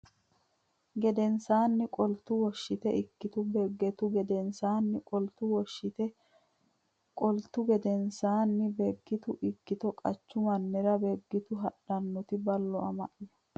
gedensaanni qoltu Woshshite ikkito Beeggitu gedensaanni qoltu Woshshite Woshshite qoltu gedensaanni Beeggitu ikkito qachu mannira Beeggitu haadhannoti Ballo ama ya !